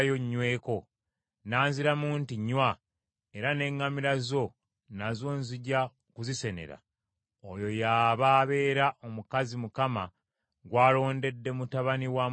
n’anziramu nti, “Nnywa, era n’eŋŋamira zo nazo nzija kuzisenera,” oyo y’aba abeera omukazi Mukama gw’alondedde mutabani wa mukama wange.’